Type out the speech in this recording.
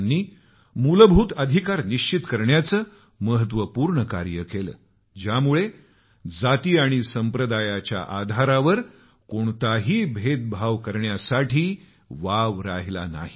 त्यांनी मूलभूत अधिकार निश्चित करण्याचं महत्वपूर्ण कार्य केलं ज्यामुळे जाती आणि संप्रदायाच्या आधारावर कोणताही भेदभाव करण्याला वाव राहिला नाही